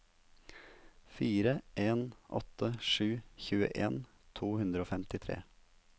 fire en åtte sju tjueen to hundre og femtitre